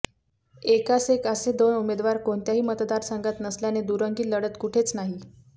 एकास एक असे दोन उमेदवार कोणत्याही मतदारसंघात नसल्याने दुरंगी लढत कुठेच नाही